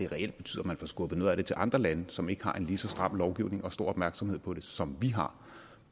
reelt betyder at man får skubbet noget af det til andre lande som ikke har en lige så stram lovgivning og stor opmærksomhed på det som vi har